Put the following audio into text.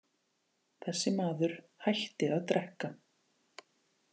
Þessi maður hætti að drekka.